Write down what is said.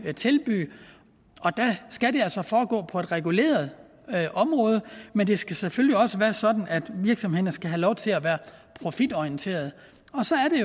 tilbyde og der skal det altså foregå på et reguleret område men det skal selvfølgelig også være sådan at virksomhederne skal have lov til at være profitorienterede og så er